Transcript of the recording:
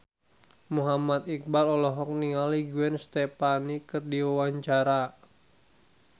Muhammad Iqbal olohok ningali Gwen Stefani keur diwawancara